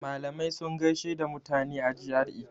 Malamai sun gaishe da mutane a GRA.